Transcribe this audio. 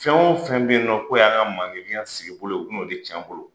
Fɛn o fɛn bɛ yen nɔ k'o y'an ka manlenfinya sigi bolo, o bɛn 'o de tiɲɛ an bolo.